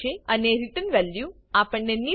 અને return value આપણને નીલ